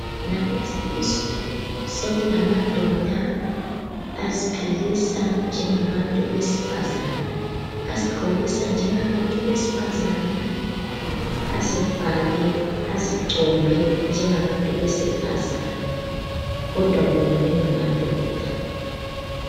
Ngalezi insuku sekulamadoda aziphilisa njengabantu besifazane, azigqokisa njengabantu besifazana, azifake, azicombe njengabantu besifazane kodwa bona bengamadoda